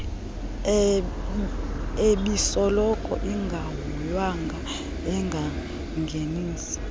ebisoloko ingahoywanga engangenisi